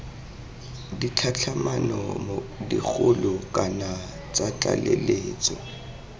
ditlhatlhamano dikgolo kana tsa tlaleletso